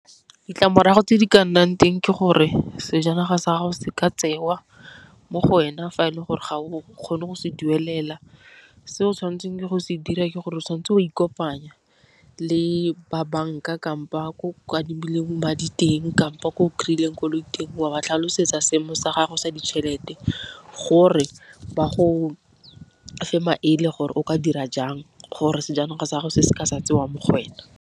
Ditlamorago tse di ka nnang teng ke gore sejanaga sa gago se ka tsewa mo go wena fa e leng gore ga o kgone go se duelela, se o tshwanetseng go se dira ke gore o tshwanetse go ikopanya le ba banka kampo ba ko madi teng kapa ko o kry-ileng koloi teng. Wa ba tlhalosetsa seemo sa gago sa ditšhelete gore ba go fe maele, gore o ka dira jang gore sejanaga sa gago se se ka sa tsewa mo go wena.